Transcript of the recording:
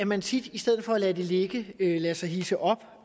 man tit i stedet for at lade det ligge lader sig hidse op